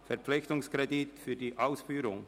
Verpflichtungskredit für die Ausführung».